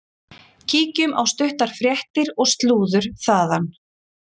Kíkjum á stuttar fréttir og slúður þaðan.